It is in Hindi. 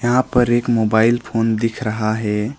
यहां पर एक मोबाइल फोन दिख रहा है।